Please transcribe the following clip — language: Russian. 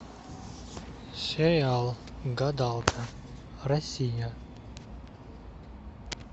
сериал гадалка россия